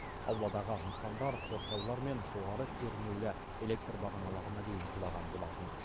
ауладағы нысандар қоршаулар мен жоғары кернеулі электр бағаналарына дейін құлаған болатын